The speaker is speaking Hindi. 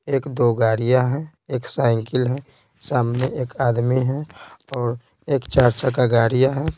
एक दो गाड़ियाँ हैं एक साइकिल है सामने एक आदमी है और एक चार-छ का गाड़ियाँ हैं।